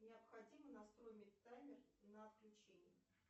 необходимо настроить таймер на отключение